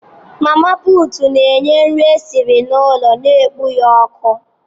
Mama putu n'nye nri esiri n'ụlọ na-ekpo ọkụ